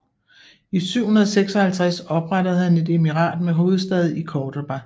I 756 oprettede han et emirat med hovedstad i Córdoba